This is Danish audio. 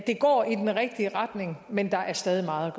går i den rigtige retning men der er stadig meget